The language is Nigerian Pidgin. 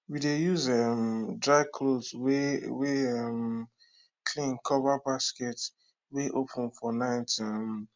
we dey use um dry cloth wey wey um clean cover basket wey open for night um